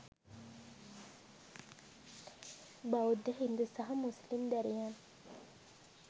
බෞද්ධ හින්දු සහ මුස්ලිම් දැරියන්.